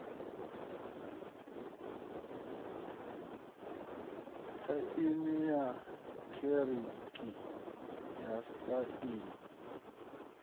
tsaini ya eekihironiki na tsaino